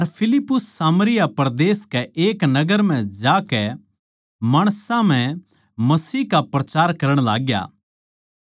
अर फिलिप्पुस सामरिया परदेस के एक नगर म्ह जाकै माणसां म्ह मसीह का प्रचार करण लाग्या